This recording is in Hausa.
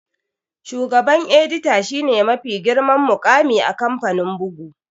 Shugaban edita shi ne mafi girman muƙami a kamfanin bugu